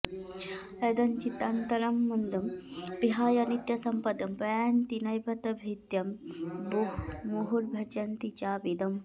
यदञ्चितान्तरा मदं विहाय नित्यसम्मदं प्रयान्ति नैव ते भिदं मुहुर्भजन्ति चाविदम्